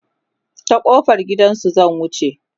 ta kofar gidansu zan wuce